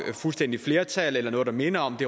fuldstændigt flertal eller noget der minder om det